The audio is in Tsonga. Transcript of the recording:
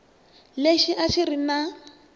lexi a xi ri na